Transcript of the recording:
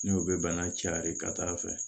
N'o bɛ bana cayara ka taa fɛ